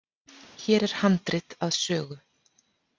Hér er handrit að sögu.